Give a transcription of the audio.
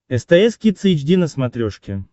стс кидс эйч ди на смотрешке